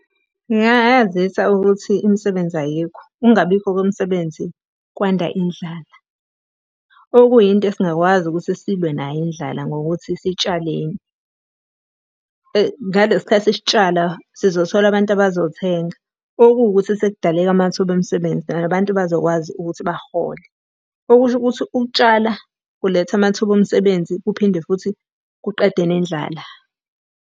Ngingayazisa ukuthi imisebenzi ayikho, ukungabikho kwemisebenzi, kwanda indlala. Okuyinto esingakwazi ukuthi silwe nayo indlala ngokuthi sitshaleni. Ngalesi khathi sitshala sizothola abantu abazothenga, okuwukuthi sekudaleka amathuba omsebenzi nabantu bazokwazi ukuthi bahole. Okusho ukuthi ukutshala kuletha amathuba omsebenzi kuphinde futhi kuqede nendlala.